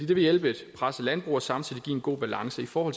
vil hjælpe et presset landbrug og samtidig give en god balance for